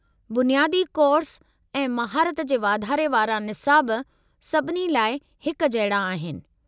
बुनियादी कोर्स ऐं महारत जे वाधारे वारा निसाब सभिनी लाइ हिक जहिड़ा आहिनि।